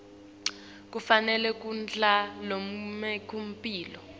kufanele kudla lokunempilo